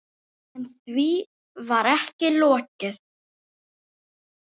En því var ekki lokið.